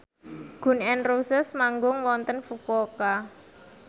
Gun n Roses manggung wonten Fukuoka